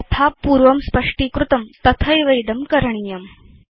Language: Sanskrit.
यथा पूर्वं स्पष्टीकृतं तथैव इदं कृतम्